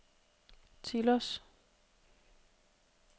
Tilos